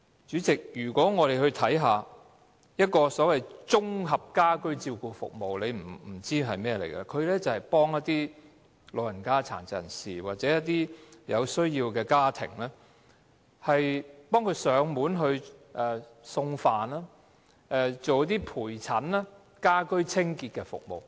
主席，我們且看看綜合家居照顧服務——你或許不知這是甚麼——這項服務是協助一些老人家、殘疾人士，或是一些有需要的家庭，為他們提供上門送飯、陪診、家居清潔等服務。